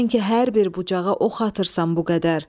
Sən ki hər bir bucağa ox atırsan bu qədər.